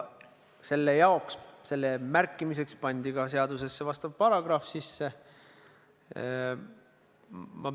Selle märkimiseks pandi seadusesse vastav paragrahv sisse.